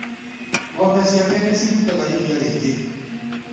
Ngombe ciake nĩcirutaga iria rĩingĩ.